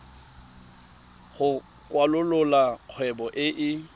go kwalolola kgwebo e e